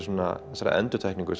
þessari endurtekningu